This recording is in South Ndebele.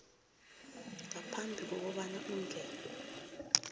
ngaphambi kobana ungene